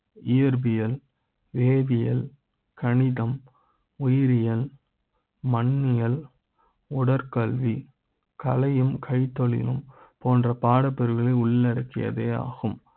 இயற்பிய ல் வேதியியல் கணிதம், உயிரிய ல் மண்ணியல் உடற்கல்வி கலை யும், கைத்தொழில் ம் போன்ற பாடப் பிரிவுகளை உள்ளடக்கியதே ஆகும்